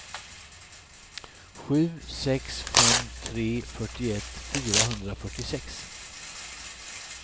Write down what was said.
sju sex fem tre fyrtioett fyrahundrafyrtiosex